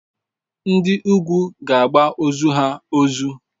Ndi ugwu ga-agba ozu ha ozu.